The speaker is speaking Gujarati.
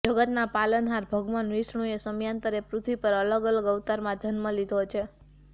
જગતના પાલનહાર ભગવાન વિષ્ણુએ સમયાંતરે પૃથ્વી પર અલગ અલગ અવતારમાં જન્મ લીધો છે